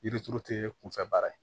Yiri turu tɛ kunfɛ baara ye